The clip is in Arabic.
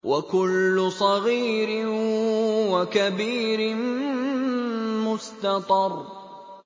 وَكُلُّ صَغِيرٍ وَكَبِيرٍ مُّسْتَطَرٌ